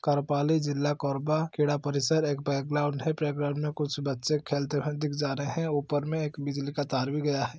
करपाली जिला कोरबा खेड़ा परिसर एक प्लेग्राउंड है प्लेग्राउंड में कुछ बच्चे खेलते हुए दिख जा रहे है ऊपर में एक बिजली का तार भी गया है।